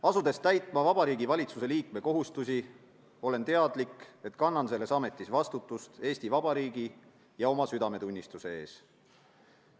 Asudes täitma Vabariigi Valitsuse liikme kohustusi, olen teadlik, et kannan selles ametis vastutust Eesti Vabariigi ja oma südametunnistuse ees.